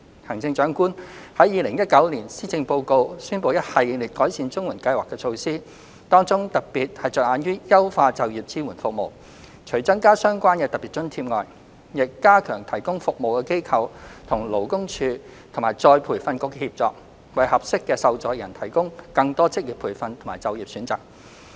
行政長官在2019年施政報告宣布一系列改善綜援計劃的措施，當中特別着眼於優化就業支援服務，除增加相關的特別津貼外，亦加強提供服務的機構與勞工處及再培訓局的協作，為合適的受助人提供更多職業培訓和就業選擇。